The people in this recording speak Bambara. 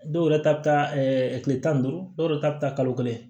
Dɔw yɛrɛ ta bɛ taa kile tan ni duuru dɔw yɛrɛ ta bi taa kalo kelen